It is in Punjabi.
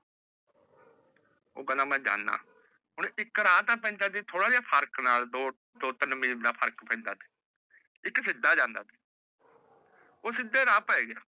ਓਹ ਖੇੰਦਾ ਮੈ ਜਾਂਦਾ ਏਕ ਰਾਹ ਪੈਂਦਾ ਉਸਤੇ ਦੋ ਥੋੜੇ ਜੇ ਫ਼ਰਕ ਨਾਲ ਦੋ ਤੀਨ ਮਿਨਤ ਦਾ ਫ਼ਰਕ ਪੈਂਦਾ ਤੇਹ ਏਕ ਸਿਧਾ ਰਾਹ ਪੈ ਗਯਾ ਓਹ ਸਿਧੇ ਰਾਹ ਜਾਂਦਾ